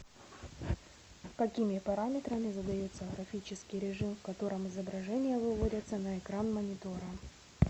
какими параметрами задается графический режим в котором изображения выводятся на экран монитора